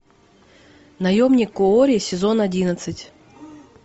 наемник куорри сезон одиннадцать